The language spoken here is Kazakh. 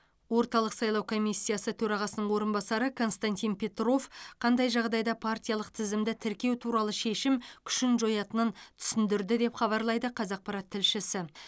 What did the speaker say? орталық сайлау комиссиясы төрағасының орынбасары константин петров қандай жағдайда партиялық тізімді тіркеу туралы шешім күшін жоятынын түсіндірді деп хабарлайды қазақпарат тілшісі